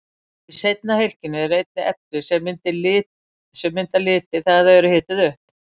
Í seinna hylkinu eru einnig efni sem mynda liti þegar þau eru hituð upp.